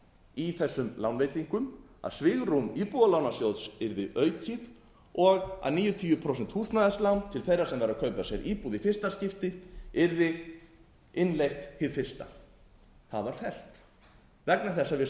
í þessum lánveitingum að svigrúm íbúðalánasjóðs yrði aukið og að níutíu prósent húsnæðislán til þeirra sem væru að kaupa sér íbúð í fyrsta skipti yrði innleitt hið fyrsta það var fellt vegna þess að